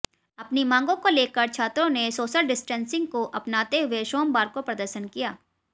अपनी मांगों को लेकर छात्रों ने सोशल डिस्टेंसिंग को अपनाते हुए सोमवार को प्रदर्शन किया